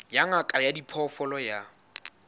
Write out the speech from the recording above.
ya ngaka ya diphoofolo ya